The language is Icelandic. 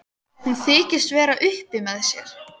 Hún þykist vera upp með sér.